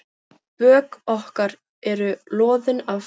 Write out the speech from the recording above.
Bök okkar eru loðin af ló.